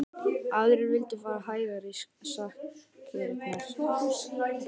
Aðrir vildu fara hægar í sakirnar.